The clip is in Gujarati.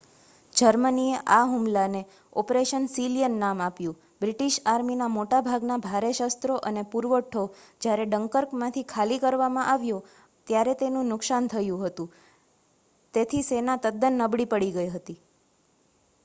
જર્મનીએ આ હુમલાને ઓપરેશન સીલિયન નામ આપ્યું બ્રિટિશ આર્મીના મોટા ભાગના ભારે શસ્ત્રો અને પુરવઠો જ્યારે ડંકર્કમાંથી ખાલી કરવામાં આવ્યો ત્યારે તેનું નુકસાન થયું હતું તેથી સેના તદ્દન નબળી પડી ગઈ હતી